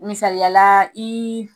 Misaliyala ii